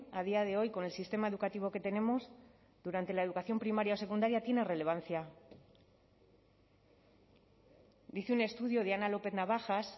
a día de hoy con el sistema educativo que tenemos durante la educación primaria o secundaria tiene relevancia dice un estudio de ana lópez navajas